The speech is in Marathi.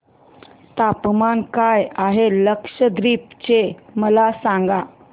तापमान काय आहे लक्षद्वीप चे मला सांगा